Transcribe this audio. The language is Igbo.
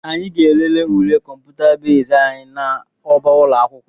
Anyị ga-elele ule kọmputa bezd anyị n'ọba ụlọ akwụkwọ